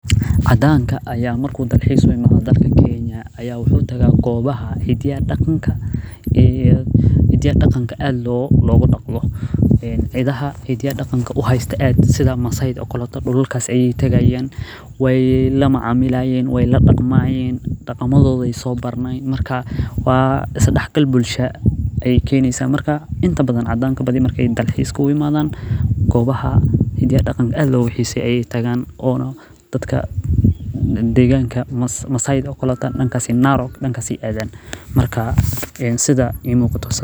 Cadaanka ayaa marka uu dalxiis u imaado ayaa wuxuu adaa hidaha iyo daqanka, waay la daqmaayim, is dex gal bulsha ayeey keneysa, oona dadka masaayda aayeey adaan, sida ii muuqato.